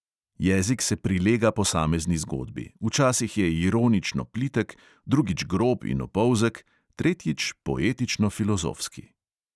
Jezik se prilega posamezni zgodbi: včasih je ironično plitek, drugič grob in opolzek, tretjič poetično filozofski.